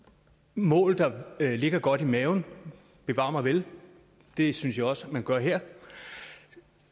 mål der ligger godt i maven bevar mig vel det synes jeg også man gør her og